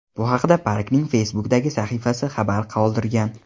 Bu haqda parkning Facebook’dagi sahifasida xabar qoldirilgan .